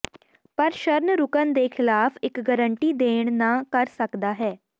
ਪਰ ਸ਼ਰਨ ਰੁਕਣ ਦੇ ਖਿਲਾਫ ਇੱਕ ਗਾਰੰਟੀ ਦੇਣ ਨਾ ਕਰ ਸਕਦਾ ਹੈ